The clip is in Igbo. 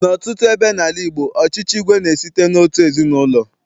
N'ọtụtụ ebe n'ala Igbo, ọchịchị igwe na-esite n'otu ezinaụlọ.